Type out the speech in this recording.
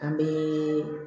An bɛ